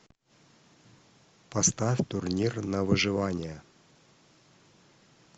поставь турнир на выживание